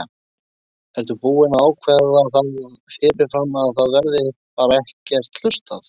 Er búið að ákveða það fyrirfram að það verði bara ekkert hlustað?